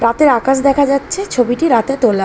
রাতের আকাশ দেখা যাচ্ছে ছবিটি রাতে তোলা।